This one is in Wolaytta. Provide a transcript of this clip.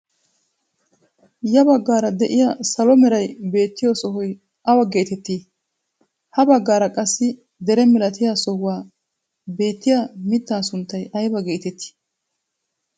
Ya baggaara de'iyaa salo meray beettiyoo sohoy awa getettii? ha baggaara qassi dere milatiyaa sohuwaa beettiyaa mittaa sunttay ayba getettii?